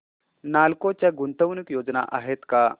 नालको च्या गुंतवणूक योजना आहेत का